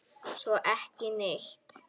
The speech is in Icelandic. Svo ekki neitt.